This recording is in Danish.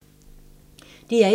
DR1